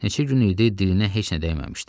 Neçə gün idi dilinə heç nə dəyməmişdi.